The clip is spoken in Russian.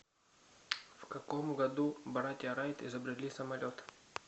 в каком году братья райт изобрели самолет